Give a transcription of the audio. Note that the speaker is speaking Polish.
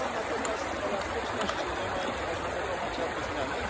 natomiast elastyczności nie ma i nie można dokonać żadnych zmian.